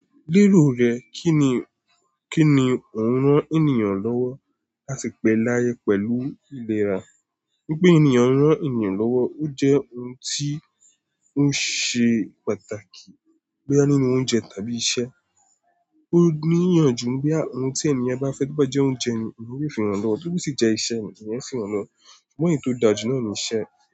Lérò rẹ, kín ni, kín ni ò ń rán ènìyàn lọ́wọ́ láti pẹ́ láyé pẹ̀lú ìlera. Wípé ènìyàn ń rán ènìyàn lọ́wọ́, ó jẹ́ ohun tí ó ṣe pàtàkì. Bóyá nínú oúnjẹ tàbí iṣẹ́. Ó níyànjú pé ohun tí ènìyàn bá fẹ́, tó bá jẹ́ oúnjẹ ni ènìyàn yóò fi ràn lọ́wọ́, tó bó sì jẹ́ iṣẹ́ ni èeyàn o sì ràn lọ́wọ́. Ṣùgbọ́n èyí tó dáa ju náà ni iṣẹ́.